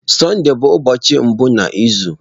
Sọnde bụ ụbọọchi mbụ n'izu.